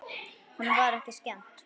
Honum var ekki skemmt.